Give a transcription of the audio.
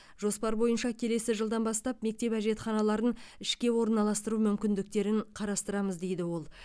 жоспар бойынша келесі жылдан бастап мектеп әжетханаларын ішке ораналастыру мүмкіндіктерін қарастырамыз дейді ол